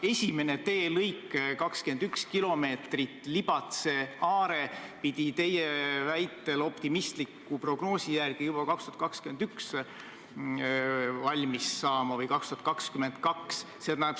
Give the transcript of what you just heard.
Esimene teelõik, 21 kilomeetrit Libatse–Are peaks teie väitel optimistliku prognoosi järgi juba aastal 2021 või 2022 valmis saama.